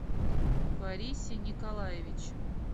борисе николаевиче